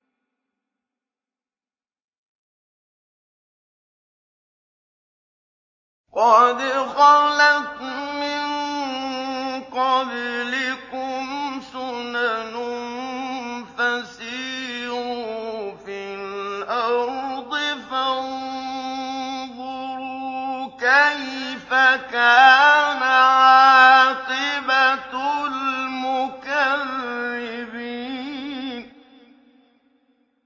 قَدْ خَلَتْ مِن قَبْلِكُمْ سُنَنٌ فَسِيرُوا فِي الْأَرْضِ فَانظُرُوا كَيْفَ كَانَ عَاقِبَةُ الْمُكَذِّبِينَ